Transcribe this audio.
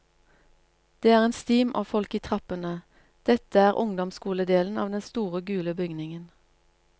Det er en stim av folk i trappene, dette er ungdomsskoledelen av den store gule bygningen.